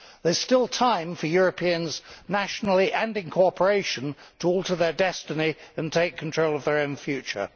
There is still time for Europeans nationally, and in cooperation, to alter their destiny and take control of their own future.